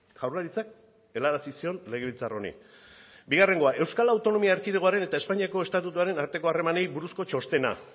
jaurlaritzak helarazi zion legebiltzar honi bigarrengoa euskal autonomia erkidegoaren eta espainiako estatutuaren arteko harremanei buruzko txostena